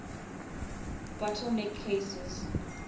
bottle neck cases